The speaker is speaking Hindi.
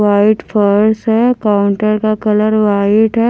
वाइट फर्स है काउंटर का कलर वाइट है।